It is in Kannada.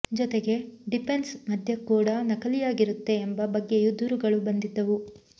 ಜೊತೆಗೆ ಡಿಫೆನ್ಸ್ ಮದ್ಯ ಕೂಡಾ ನಕಲಿಯಾಗಿರುತ್ತೆ ಎಂಬ ಬಗ್ಗೆಯೂ ದೂರುಗಳು ಬಂದಿದ್ದವು